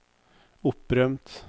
opprømt